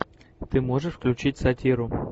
ты можешь включить сатиру